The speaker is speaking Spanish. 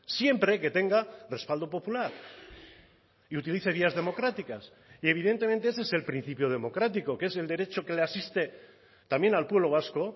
siempre que tenga respaldo popular y utilice vías democráticas y evidentemente ese es el principio democrático que es el derecho que le asiste también al pueblo vasco